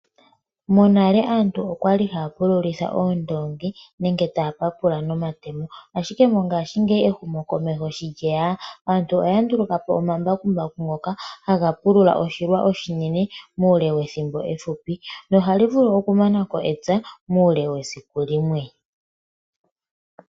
Monale aantu okwali haya pululitha oondongi nenge taya papula nomatemo ashike mongaashi ngeyi ehumo komeho shi lyeya aantu oya ndulukapo omambakumbaku ngoka haga pulula oshilwa oshinene muule wethimbo efupi nohali vulu okumanako epya muule wesiku limwe.